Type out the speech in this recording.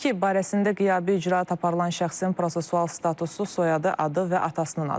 İki, barəsində qiyabi icraat aparılan şəxsin prosessual statusu, soyadı, adı və atasının adı.